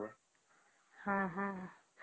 ହଁ ହଁ